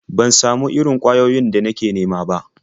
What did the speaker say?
Ban samu irin ƙwayoyin da nake nema ba.